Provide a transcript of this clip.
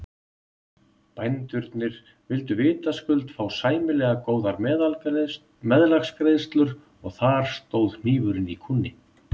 Bændurnir vildu vitaskuld fá sæmilega góðar meðlagsgreiðslur og þar stóð hnífurinn í kúnni.